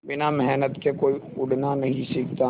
बिना मेहनत के कोई उड़ना नहीं सीखता